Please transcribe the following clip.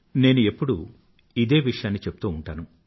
నేను ఎప్పుడూ ఇదే విషయాన్ని చెప్తూ ఉంటాను